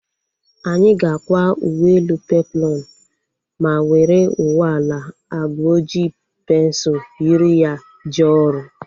Anyị ga-akwa uwe elu peploonu ma were uwe ala agba oji pensul yiri ya jee ọrụ